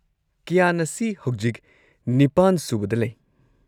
ꯀ꯭ꯌꯥꯟ ꯑꯁꯤ ꯍꯧꯖꯤꯛ ꯸ꯁꯨꯕꯗ ꯂꯩ꯫